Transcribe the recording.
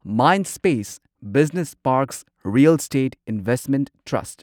Mindspace business parks real estate investment trust